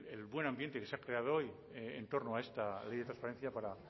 el buen ambiente que se ha creado hoy en torno a esta ley de transparencia para